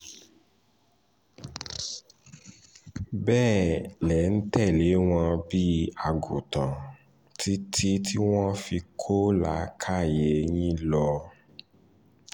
bẹ́ẹ̀ lẹ̀ ń tẹ̀lé wọn bíi àgùtàn títí tí wọ́n fi kó làákàyè yín lọ